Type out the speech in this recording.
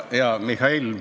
Hea Mihhail!